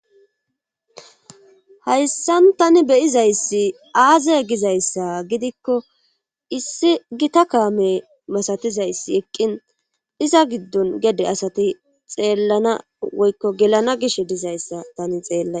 hayssan tani beyizayssi aaze gizayssa gidikko issi gita kaame masatizayssi eqqin iza giddon gede asati xeellana woykko gelana gish dizayssa tani xeellays